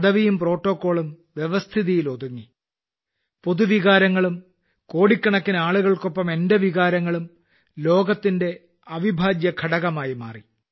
പദവിയും പ്രോട്ടോക്കോളും വ്യവസ്ഥിതിയിലും പൊതുവികാരത്തിലും ഒതുങ്ങി കോടിക്കണക്കിന് ആളുകൾക്കൊപ്പം എന്റെ വികാരങ്ങളും ലോകത്തിന്റെ അവിഭാജ്യ ഘടകമായി മാറി